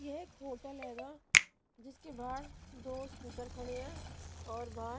ये एक होटल हैगा जिसके बाहर दो स्कूटर खड़े हैं और बाहर--